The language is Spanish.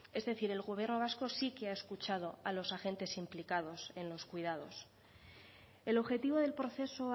es decir el gobierno vasco sí que ha escuchado a los agentes implicados en los cuidados el objetivo del proceso